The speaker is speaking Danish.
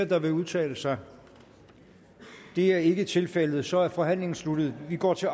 der vil udtale sig det er ikke tilfældet og så er forhandlingen sluttet og vi går til